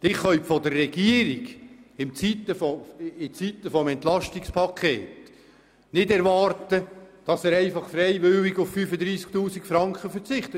In der Zeit eines Entlastungspakets können Sie von der Regierung nicht erwarten, freiwillig auf 35 000 Franken zu verzichten.